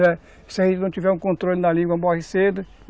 Se a gente não tiver um controle na língua, morre cedo.